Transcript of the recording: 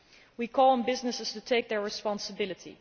We call on businesses to take their responsibility.